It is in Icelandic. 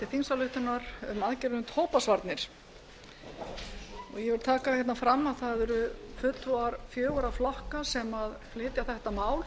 þingsályktunar um aðgerðir um tóbaksvarnir ég vil taka hérna fram að það eru fulltrúar fjögurra flokka sem flytja þetta mál